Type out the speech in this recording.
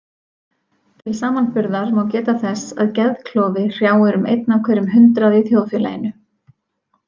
Til samanburðar má geta þess að geðklofi hrjáir um einn af hverjum hundrað í þjóðfélaginu.